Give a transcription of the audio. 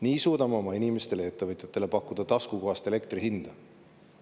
Nii suudame oma inimestele ja ettevõtjatele pakkuda taskukohast elektri hinda.